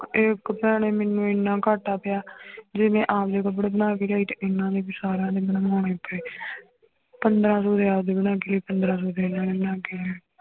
ਇੱਕ ਭੈਣੇ ਮੈਨੂੰ ਇੰਨਾ ਘਾਟਾ ਪਿਆ ਜੇ ਮੈਂ ਆਮ ਜਿਹੇ ਕੱਪੜੇ ਬਣਾ ਕੇ ਲਿਆਈ ਤੇ ਇੰਨਾ ਨੀ ਵੀ ਸਾਰਾ ਨੀ ਬਣਵਾਉਣਾ ਇੱਥੇ ਪੰਦਰਾਂ ਸੌ ਦੇ ਆਪਦੇ ਬਣਾ ਕੇ ਲਿਆਈ, ਪੰਦਰਾਂ ਸੌ ਦੇ ਇਹਨਾਂ ਨੇ ਬਣਾ ਕੇ ਲਿਆਏ